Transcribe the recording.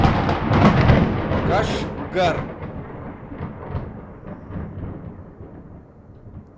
кашгар